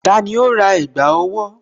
Tani ó rà ẹ̀gbá owó?